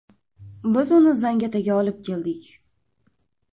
Biz uni Zangiotaga olib keldik.